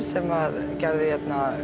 sem gerði